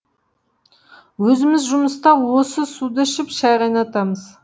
өзіміз жұмыста осы суды ішіп шай қайнатамыз